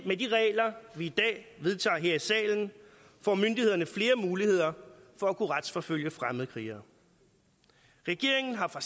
med de regler vi i dag vedtager her i salen får myndighederne flere muligheder for at kunne retsforfølge fremmedkrigere regeringen har fra